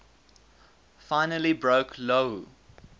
finally broke lou